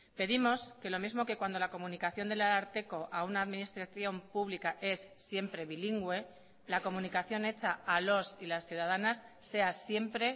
pedimos que lo mismo que cuando la comunicación del ararteko a una administración pública es siempre bilingüe la comunicación hecha a los y las ciudadanas sea siempre